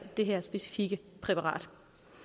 det her specifikke præparat